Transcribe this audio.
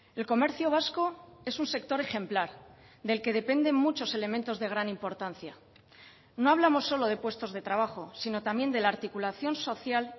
el comercio vasco es un sector ejemplar del que dependen muchos elementos de gran importancia no hablamos solo de puestos de trabajo sino también de la articulación social